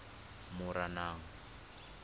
moranang